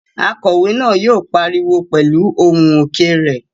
Akòwé náà yóò pariwo pẹ̀lú ohùn òkè rẹ̀